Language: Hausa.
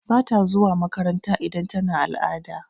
Bata zuwa makaranta idan tana al'ada.